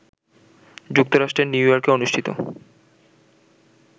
যুক্তরাষ্ট্রের নিউ ইয়র্কে অনুষ্ঠিত